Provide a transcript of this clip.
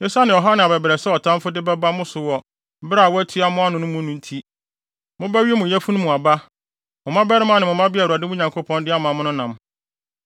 Esiane ɔhaw ne abɛbrɛsɛ a ɔtamfo de bɛba mo so wɔ bere a wɔatua mo ano no mu no nti, mobɛwe mo yafunu mu aba, mo mmabarima ne mmabea a Awurade mo Nyankopɔn no de ama mo no nam.